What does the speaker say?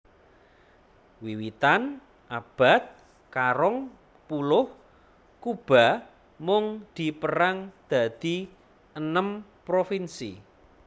Wiwitan abad karong puluh Kuba mung dipérang dadi 6 provinsi